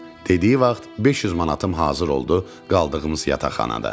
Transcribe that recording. Dediyi vaxt 500 manatım hazır oldu qaldığımız yataqxanada.